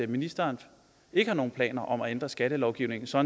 ministeren ikke har nogen planer om at ændre skattelovgivningen så